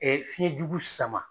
fiyɛn jugu sama.